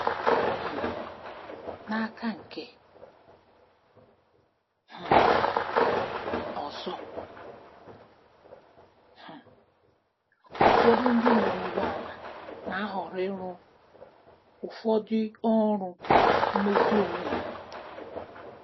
um N'aka nke um ọzọ, um ụfọdụ ndị nwe ụgbọ ala na-ahọrọ ịrụ ụfọdụ ọrụ mmezi n'onwe ha.